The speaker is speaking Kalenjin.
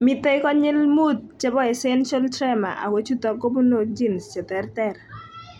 Mitei konyil 5 chebo essential tremor ako chutok kobunu genes cheterter